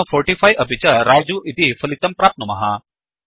अधुना 45 अपि च रजु इति फलितं प्राप्नुमः